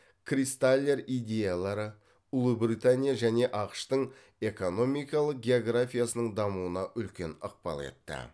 кристаллер идеялары ұлыбритания және ақш тың экономикалық географиясының дамуына үлкен ықпал етті